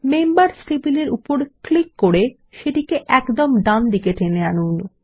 members টেবিলের উপর click করে সেটিকে একদম ডানদিকে টেনে আনুন